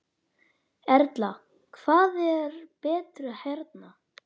Erla: Hvað er betra hérna?